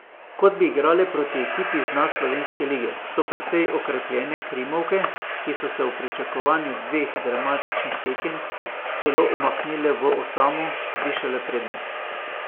Kot bi igrale proti ekipi z dna slovenske lige, so precej okrepljene krimovke, ki so se v pričakovanju dveh dramatičnih tekem celo umaknile v osamo, višale prednost.